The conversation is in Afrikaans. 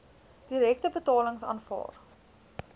direkte betalings aanvaar